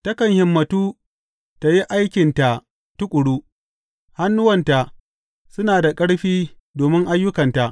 Takan himmantu tă yi aikinta tuƙuru; hannuwanta suna da ƙarfi domin ayyukanta.